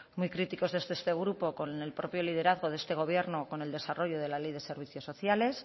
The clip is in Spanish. muy críticos desde este grupo con el propio liderazgo de este gobierno con el desarrollo de la ley de servicios sociales